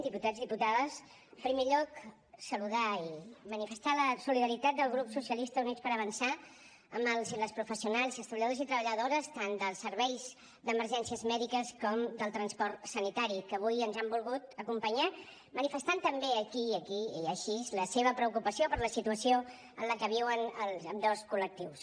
diputats diputades en primer lloc saludar i manifestar la solidaritat del grup socialistes i units per avançar amb els i les professionals i els treballadors i treballadores tant del servei d’emergències mèdiques com del transport sanitari que avui ens han volgut acompanyar i manifestar també aquí i així la seva preocupació per la situació en la que viuen ambdós col·lectius